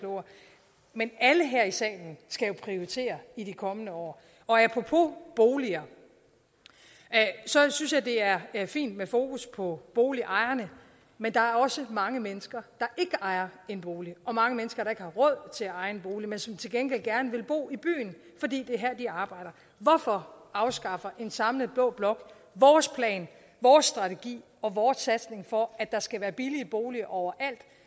klogere men alle her i salen skal jo prioritere i de kommende år og apropos boliger så synes jeg det er er fint med fokus på boligejerne men der er også mange mennesker der ikke ejer en bolig og mange mennesker der ikke har råd til at eje en bolig men som til gengæld gerne vil bo i byen fordi det er her de arbejder hvorfor afskaffer en samlet blå blok vores plan vores strategi og vores satsning på at der skal være billige boliger overalt